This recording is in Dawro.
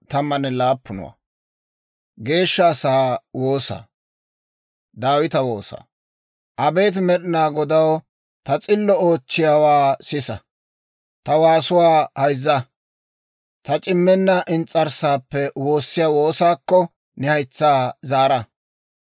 Abeet Med'inaa Godaw, ta s'illo oochchiyaawaa sisa; ta waasuwaa hayzza. Taani c'immenna ins's'arssaappe woossiyaa woosaakko, ne haytsaa zaara.